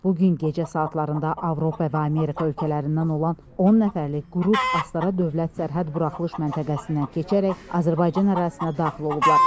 Bu gün gecə saatlarında Avropa və Amerika ölkələrindən olan 10 nəfərlik qrup Astara Dövlət Sərhəd Buraxılış Məntəqəsindən keçərək Azərbaycan ərazisinə daxil olublar.